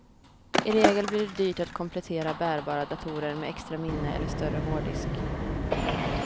I regel blir det dyrt att komplettera bärbara datorer med extra minne eller större hårddisk.